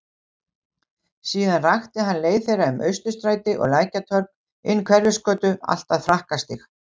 Síðan rakti hann leið þeirra um Austurstræti og Lækjartorg, inn Hverfisgötu allt að Frakkastíg.